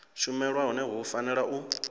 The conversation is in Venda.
shumelwa hone hu fanela u